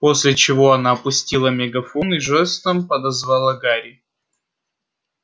после чего она опустила мегафон и жестом подозвала гарри